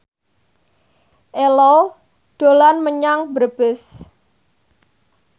Ello dolan menyang Brebes